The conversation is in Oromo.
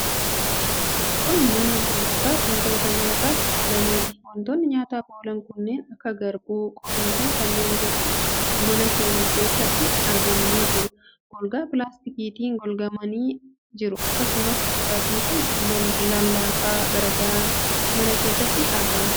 Kun mana gurgurtaa wantoota nyaataaf oolaniiti. Wantoonni nyaataaf oolan kanneen akka garbuu, qoriifi kanneen biroon mana kana keessatti argamanii jiru. Golgaa pilaastikiitiin golgamanii jiru. Akkasumas, dhugaatiiwwan lallaafaa garaa garaa mana keessatti argama.